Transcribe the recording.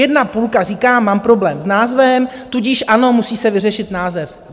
Jedna půlka říká, mám problém s názvem, tudíž ano, musí se vyřešit název.